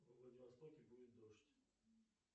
во владивостоке будет дождь